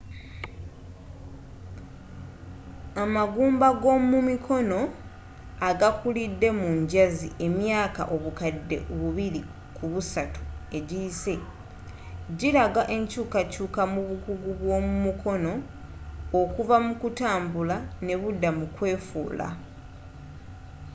amagumba g'omumikono agakulidde mu njazi emyaaka obukadde bubiri ku busatu egiyise gilaga enkyuukakyuuka mu bukugu bwomukono okuva mukutambula nebudda mukwefuula